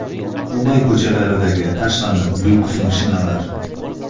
Dubay ko‘chalaridagi tashlandiq lyuks mashinalar .